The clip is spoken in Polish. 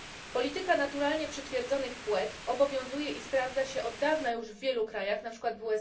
Polityka naturalnie przytwierdzonych płetw obowiązuje i sprawdza się od dawna już w wielu krajach, np.